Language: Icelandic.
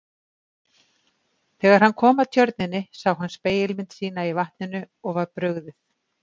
Þegar hann kom að tjörninni sá hann spegilmynd sína í vatninu og var brugðið.